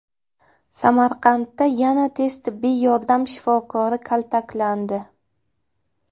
Samarqandda yana tez tibbiy yordam shifokori kaltaklandi.